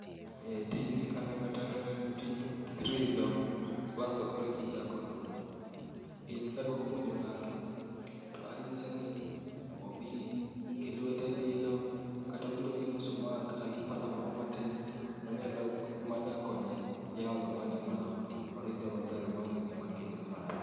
E tijni kaneno to aneno ni en tij ridho bas to koro eka ijako oduma. Gini kadwa puonjo ng'ato to anyise ni obiro gilwete lilo kata obi gi musumal manyalo konye yawo odumani mondo oridhe maber maonge gima timre marach..